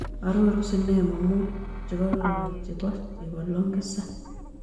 Arorun sinemo mut che kororon che po chebo longisa